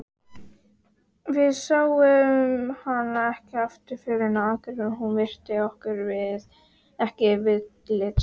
Við sáum hana ekki aftur fyrr en á Akureyri og hún virti okkur ekki viðlits.